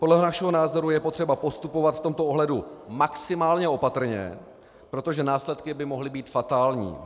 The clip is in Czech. Podle našeho názoru je potřeba postupovat v tomto ohledu maximálně opatrně, protože následky by mohly být fatální.